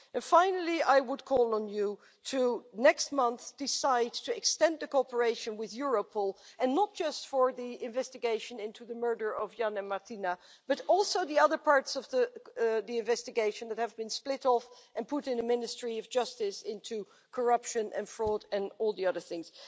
Finally, I would call on you next month to decide to extend to cooperation with Europol, and not just for the investigation into the murder of Ján and Martina, but also the other parts of the investigation that have been split off by the Ministry of Justice into corruption and fraud and all the other things.